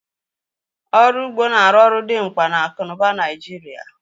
Ọrụ ugbo na-arụ ọrụ dimkpa na akụ n'ụba Naịjirịa